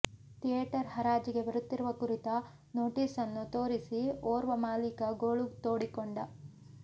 theatre ಹರಾಜಿಗೆ ಬರುತ್ತಿರುವ ಕುರಿತ ನೋಟಿಸನ್ನು ತೋರಿಸಿ ಓರ್ವ ಮಾಲಿಕ ಗೋಳು ತೋಡಿಕೊಂಡ